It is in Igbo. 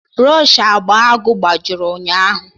Brọshị agba agụụ gbajiri ụnyaahụ